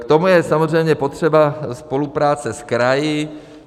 K tomu je samozřejmě potřeba spolupráce s kraji.